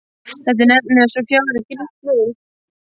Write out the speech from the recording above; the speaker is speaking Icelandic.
Þetta er nefnilega svo fjári grýtt leið.